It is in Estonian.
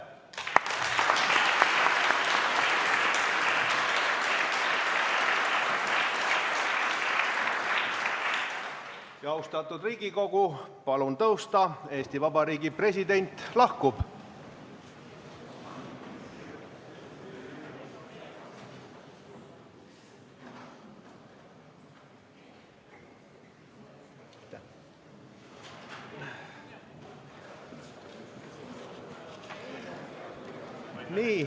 Austatud Riigikogu, palun tõusta, Eesti Vabariigi president lahkub.